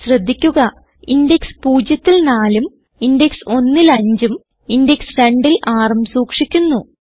ശ്രദ്ധിക്കുക ഇൻഡെക്സ് 0ൽ 4 ഉം ഇൻഡെക്സ് 1ൽ 5 ഉം ഇൻഡെക്സ് 2ൽ 6 ഉം സൂക്ഷിക്കുന്നു